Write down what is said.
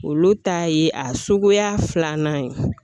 Olu ta ye a suguya filanan ye